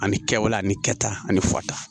Ani kɛwale ani kɛta ani fata